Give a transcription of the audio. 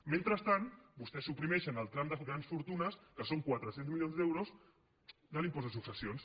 mentrestant vostès suprimeixen el tram de grans fortunes que són quatre cents milions d’euros de l’impost de successions